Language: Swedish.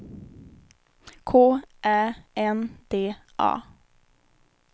K Ä N D A